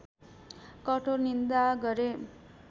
कठोर निन्दा गरे